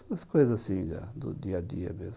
Essas coisas assim, do dia a dia mesmo.